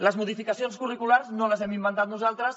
les modificacions curriculars no les hem inventat nosaltres